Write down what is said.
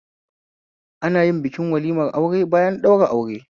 Anayin bikin walimar aure bayan ɗaura aure